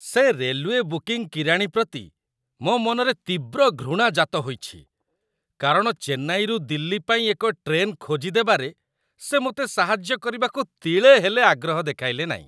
ସେ railway booking କିରାଣୀ ପ୍ରତି ମୋ ମନରେ ତୀବ୍ର ଘୃଣା ଜାତ ହୋଇଛି, କାରଣ ଚେନ୍ନାଇରୁ ଦିଲ୍ଲୀ ପାଇଁ ଏକ ଟ୍ରେନ୍ ଖୋଜିଦେବାରେ ସେ ମୋତେ ସାହାଯ୍ୟ କରିବାକୁ ତିଳେ ହେଲେ ଆଗ୍ରହ ଦେଖାଇଲେ ନାହିଁ।